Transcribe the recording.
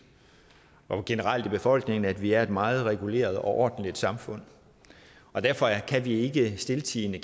og generelt i befolkningen af at vi er et meget reguleret og ordentligt samfund og derfor kan vi ikke stiltiende